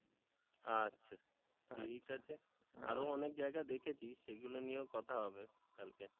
আচ্ছা ঠিক আছে আরো অনেক জায়গা দেখেছি সেগুলো নিয়েও কথা হবে কালকে হ্যাঁ